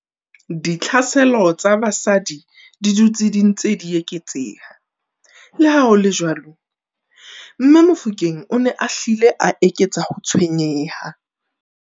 Ditlhaselo tsa basadi di dutse di ntse di eketseha, leha ho le jwalo, mme Mofokeng o ne a hlile a eketsa ho tshwenyeha.